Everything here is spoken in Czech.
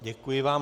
Děkuji vám.